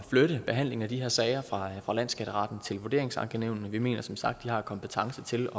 flytte behandlingen af de her sager fra landsskatteretten til vurderingsankenævnene vi mener som sagt at de har kompetencen til